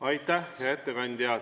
Aitäh, hea ettekandja!